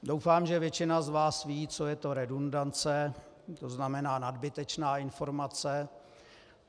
Doufám, že většina z vás ví, co je to redundance, to znamená nadbytečná informace.